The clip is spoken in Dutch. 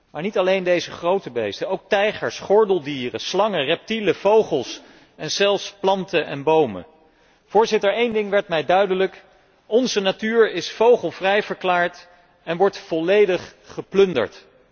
Maar niet alleen deze grote beesten, ook tijgers, gordeldieren, slangen, reptielen, vogels en zelfs planten en bomen. Voorzitter, één ding werd mij duidelijk onze natuur is vogelvrij verklaard en wordt volledig geplunderd.